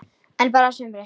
En bara sumra.